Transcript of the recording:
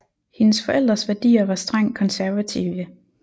Hendes forældres værdier var strengt konservative